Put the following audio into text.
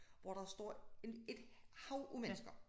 Hvor der står en et hav af mennesker